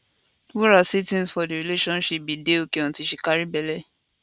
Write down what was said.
wura say tins for di relationship bin dey okay until she carry belle